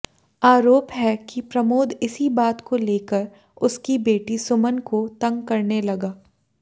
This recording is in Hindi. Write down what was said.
आरोप है कि प्रमोद इसी बात को लेकर उसकी बेटी सुमन को तंग करने लगा